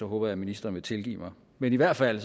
håber jeg ministeren vil tilgive mig men i hvert fald